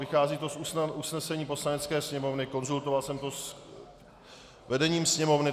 Vychází to z usnesení Poslanecké sněmovny, konzultoval jsem to s vedením Sněmovny.